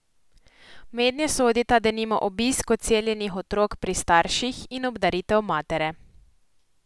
Mednje sodita denimo obisk odseljenih otrok pri starših in obdaritev matere.